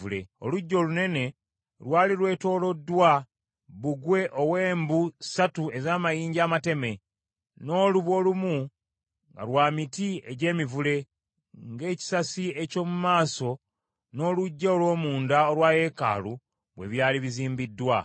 Oluggya olunene lwali lwetooloddwa bbugwe ow’embu ssatu ez’amayinja amateme, n’olubu olumu nga lwa miti egy’emivule, ng’ekisasi eky’omu maaso n’oluggya olw’omunda olwa yeekaalu bwe byali bizimbiddwa.